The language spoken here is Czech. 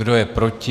Kdo je proti?